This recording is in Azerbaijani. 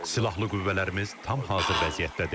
Silahlı qüvvələrimiz tam hazır vəziyyətdədir.